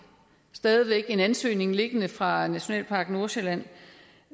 stadig væk har en ansøgning liggende fra nationalpark nordsjælland